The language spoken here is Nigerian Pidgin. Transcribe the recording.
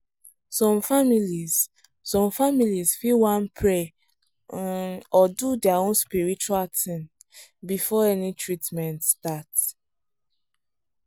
some families some families fit wan pray um or do their own spiritual thing before any treatment start.